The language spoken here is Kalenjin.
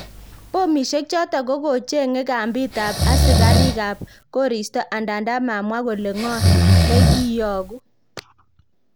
Pomisiek choton kokochenge kampiit ab asikarik ab koristo ndanda mamwa kole ngo nekiiyoku